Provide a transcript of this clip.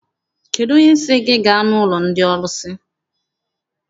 Kedụ onye sị gị gaa n'ụlọ ndị ọrụsị?